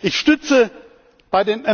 Ich unterstütze bei den Änderungsanträgen